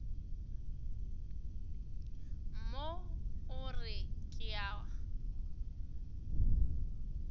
mo o re ke a